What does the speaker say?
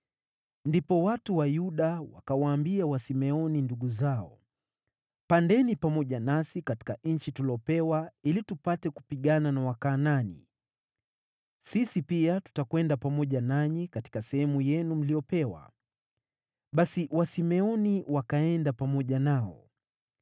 Ndipo watu wa Yuda wakawaambia Wasimeoni ndugu zao, “Pandeni pamoja nasi katika nchi tuliyopewa, ili tupate kupigana na Wakanaani. Sisi pia tutakwenda pamoja nanyi katika sehemu yenu mliyopewa.” Basi Wasimeoni wakaenda pamoja nao.